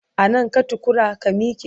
A nan ka takura? ka mike!